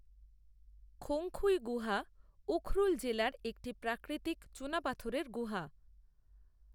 খংখুই গুহা উখরুল জেলার একটি প্রাকৃতিক চুনাপাথরের গুহা।